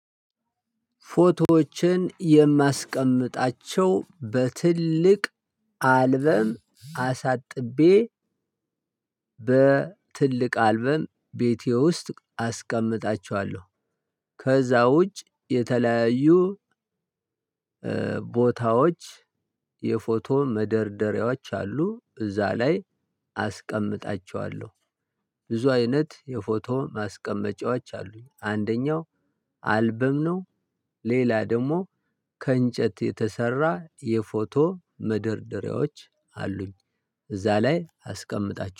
ፎቶዎችን የማስቀምጣቸው በትልቅ አልበም አሳጥቤ። በትልቅ አልበም ቤቴ ውስጥ አስቀምጣቸዋለሁ። ከዛ ውጭ የተለያዩ ቦታዎች የፎቶ መደርደሪያዎች አሉ እዛ ላይ አስቀምጣቸዋለሁ። ብዙ አይነት የፎቶ ማስቀመጫዎች አሉኝ አንደኛው አልበም ነው። ሌላ ደግሞ ከእንጨት የተሰራ የፎቶ መደርደሪያዎች አሉኝ። እዛ ላይ አስቀምጣቸ